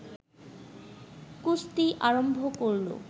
কুস্তি আরম্ভ করল